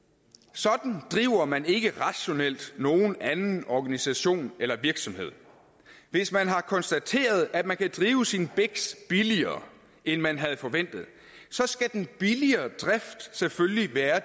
sådan driver man ikke rationelt nogen anden organisation eller virksomhed hvis man har konstateret at man kan drive sin biks billigere end man havde forventet så skal den billigere drift selvfølgelig være